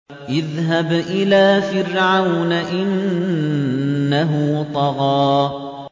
اذْهَبْ إِلَىٰ فِرْعَوْنَ إِنَّهُ طَغَىٰ